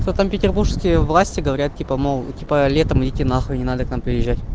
то там петербургские власти говорят типа мол типа летом идити на хуй не надо к нам приезжать